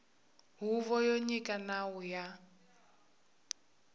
huvo yo nyika nawu ya